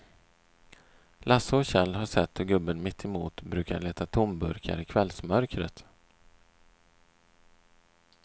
Lasse och Kjell har sett hur gubben mittemot brukar leta tomburkar i kvällsmörkret.